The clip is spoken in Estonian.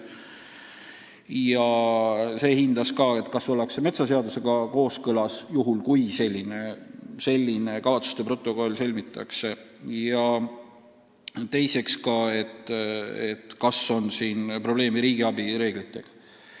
Ja see analüüs hindas ka, kas ollakse metsaseadusega kooskõlas, kui selline kavatsuste protokoll sõlmitakse, ja teiseks, kas on probleeme riigiabi reeglitega.